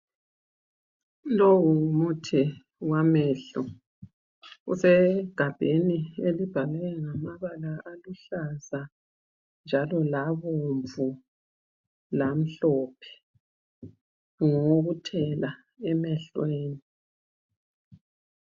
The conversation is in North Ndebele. Lowu ngumuthi wamehlo. Usegabheni elibhalwe ngamabala aluhlaza njalo labomvu lamhlophe. Ngowokuthela emehlweni.